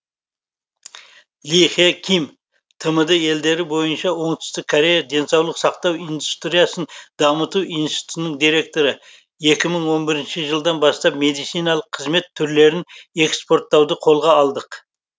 ли хе ким тмд елдері бойынша оңтүстік корея денсаулық сақтау индустриясын дамыту институтының директоры екі мың он бірінші жылдан бастап медициналық қызмет түрлерін экспорттауды қолға алдық